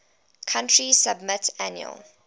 country submit annual